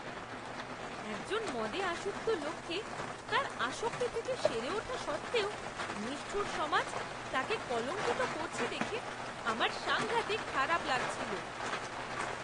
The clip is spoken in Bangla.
একজন মদে আসক্ত লোককে তার আসক্তি থেকে সেরে ওঠা সত্ত্বেও নিষ্ঠুর সমাজ তাকে কলঙ্কিত করছে দেখে আমার সাংঘাতিক খারাপ লাগছিল।